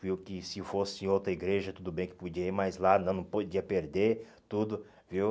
Viu que se fosse em outra igreja, tudo bem que podia ir, mas lá não não podia perder tudo, viu?